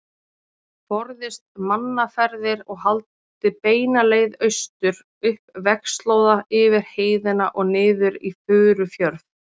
Forðist mannaferðir og haldið beina leið austur, upp vegarslóða yfir heiðina og niður í Furufjörð.